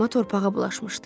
Amma torpağa bulaşmışdı.